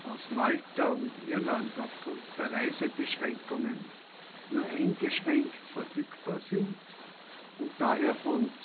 aus Malta und Irland aufgrund der Reisebeschränkungen nur eingeschränkt verfügbar sind und daher von